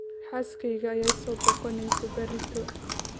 Xaaskeyga ayaa i soo booqaneso berrito.